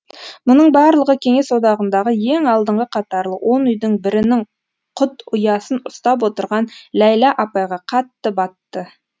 мұның барлығы кеңес одағындағы ең алдыңғы қатарлы он үйдің бірінің құт ұясын ұстап отырған ләйлә апайға қатты батты